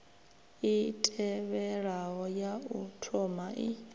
i tevhelaho ya u thomai